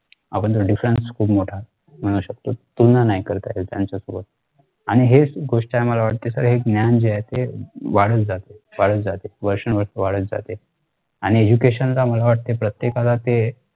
आपण तो difference खूप मोठा म्हणू शकतो. तुलना नाही करत आहे त्यांच्या सोबत आणि हेच गोष्ट आम्हाला वाटते SIR हे ज्ञान जे आहे ते वाढत जाते वाढत जाते वर्षानुवर्षे वाढत जाते. आणि education चा मला वाटते प्रत्येकाला ते